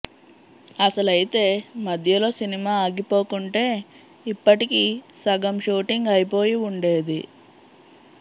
అసలైతే మధ్యలో సినిమా ఆగిపోకుంటే ఇప్పటికి సగం షూటింగ్ అయిపోయి ఉండేది